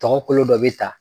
Tɔgɔ kolo dɔ bɛ taa.